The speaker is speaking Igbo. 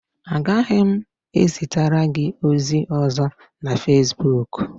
Agaghị m ezitere gị ozi ọzọ na Fesbuk